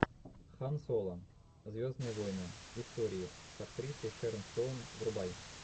хан соло звездные войны истории с актрисой шерон стоун врубай